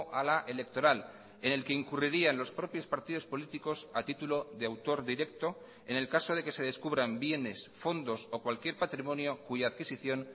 a la electoral en el que incurrirían los propios partidos políticos a título de autor directo en el caso de que se descubran bienes fondos o cualquier patrimonio cuya adquisición